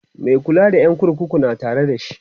Mai kula da ƴan kurkukun na Tare da shi